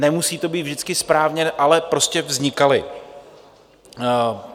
Nemusí to být vždycky správně, ale prostě vznikaly.